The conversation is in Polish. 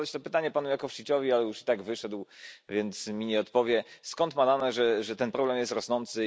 Chciałem zadać to pytanie panu Jakovčiciovi, ale już i tak wyszedł, więc mi nie odpowie. Skąd ma dane, że ten problem jest rosnący?